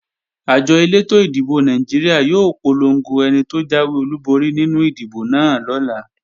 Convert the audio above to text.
Àjọ elétò ìdìbò Nàìjíríà yóò polongo ẹni tó jáwé olúborí nínú ìdìbò náà lọ́la